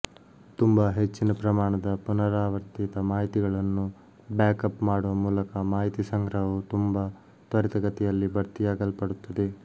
ತುಂಬಾ ಹೆಚ್ಚಿನ ಪ್ರಮಾಣದ ಪುನರಾವರ್ತಿತ ಮಾಹಿತಿಗಳನ್ನು ಬ್ಯಾಕ್ ಅಪ್ ಮಾಡುವ ಮೂಲಕ ಮಾಹಿತಿ ಸಂಗ್ರಹವು ತುಂಬಾ ತ್ವರಿತಗತಿಯಲ್ಲಿ ಭರ್ತಿಯಾಗಲ್ಪಡುತ್ತದೆ